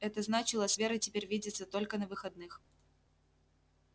это значило с верой теперь видеться только на выходных